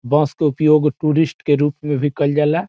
बस के उपयोग टूरिस्ट के रूप में भी कइल जाला |